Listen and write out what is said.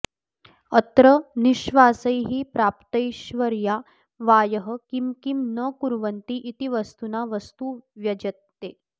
अत्र निःश्वासैः प्राप्तैश्वर्या वायः किं किं न कुर्वन्तीति वस्तुना वस्तु व्यज्यते